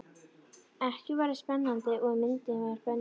Ekkert var eins spennandi og ef myndin var bönnuð.